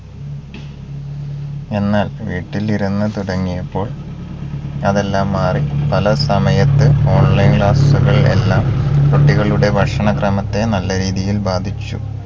എന്നാൽ വീട്ടിലിരുന്നു തുടങ്ങിയപ്പോൾ അതെല്ലാം മാറി പല സമയത്ത് online class കൾ എല്ലാം കുട്ടികളുടെ ഭക്ഷണക്രമത്തെ നല്ല രീതിയിൽ ബാധിച്ചു